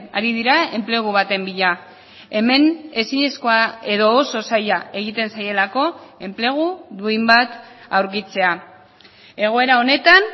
ari dira enplegu baten bila hemen ezinezkoa edo oso zaila egiten zaielako enplegu duin bat aurkitzea egoera honetan